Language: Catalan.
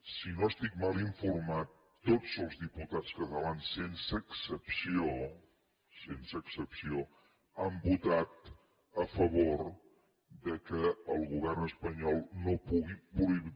si no estic mal informat tots els diputats catalans sense excepció sense excepció han votat a favor que el govern espanyol no pugui